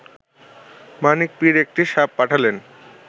মানিক পীর একটি সাপ পাঠালেন